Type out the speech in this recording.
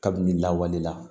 Kabini lawale la